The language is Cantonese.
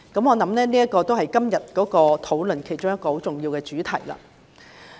我相信這是今天的討論比較重要的主題。